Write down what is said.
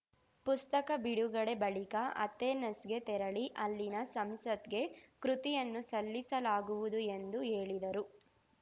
ಪುಸ್ತಕ ಬಿಡುಗಡೆ ಬಳಿಕ ಅಥೆನಸ್ ಗೆ ತೆರಳಿ ಅಲ್ಲಿನ ಸಂಸತ್‌ಗೆ ಕೃತಿಯನ್ನು ಸಲ್ಲಿಸಲಾಗುವುದು ಎಂದು ಹೇಳಿದರು